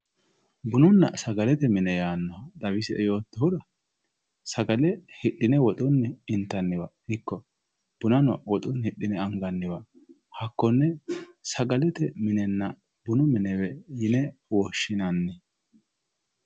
Bununna sagalete mine xawisie yootohura sagale hidhine woxunni intaniwa iko bunani woxuni hidhine anganiwa hakone sagalete woyi bunu minewe yine woyishinanni